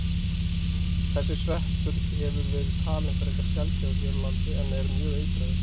Þessi sveppur hefur verið talinn frekar sjaldgæfur hér á landi en er mjög eitraður.